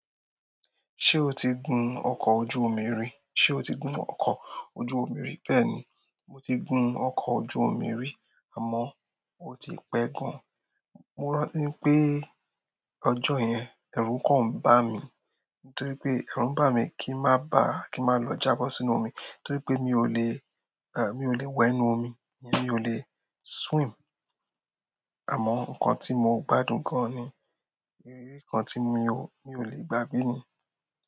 Ṣé o ti gun ọkọ̀ ojú omi rí? Ṣé o ti gun ọkọ̀ ojú omi rí? Bẹ́ẹ̀ni, mo ti gun ọkọ̀ ojú omi rí àmọ́ ó ti pẹ́ gan-an. Mo rántí ńpé ọjọ́ yẹn ẹ̀rù kàn ń bà mi torí pé ẹ̀rù ń bá mi kí ń má bá, kí n má lọ jábọ́ sínú omi torí pé mi ò lè, mi ò le wẹ̀ ńnú omi, mi ò lè swim. Àmọ́ nǹkan tí mo gbádùn gan-an ni, ìrírí kan tí mi ò lè gbàgbé ni.